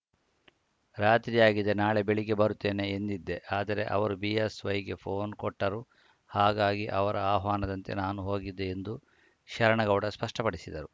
ರಾತ್ರಿಯಾಗಿದೆ ನಾಳೆ ಬೆಳಗ್ಗೆ ಬರುತ್ತೇನೆ ಎಂದಿದ್ದೆ ಆದರೆ ಅವರು ಬಿಎಸ್‌ವೈಗೆ ಫೋನ್‌ ಕೊಟ್ಟರು ಹಾಗಾಗಿ ಅವರ ಆಹ್ವಾನದಂತೆ ನಾನು ಹೋಗಿದ್ದೆ ಎಂದು ಶರಣಗೌಡ ಸ್ಪಷ್ಟಪಡಿಸಿದರು